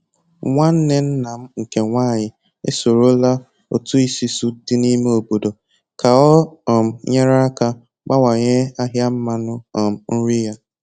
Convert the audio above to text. Nwanne nna m nke nwanyị e sorola otu isusu di n'ime obodo ka o um nyere ya aka bawanye ahịa mmanụ um nri ya